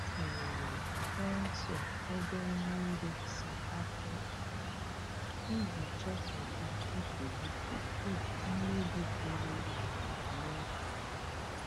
Ha tinyere sensọ ebe mmiri si-apụ apụ iji chọpụta nsogbu tupu mmebi buru ibu eme.